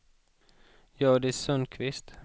Hjördis Sundkvist